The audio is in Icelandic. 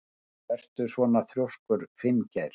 Af hverju ertu svona þrjóskur, Finngeir?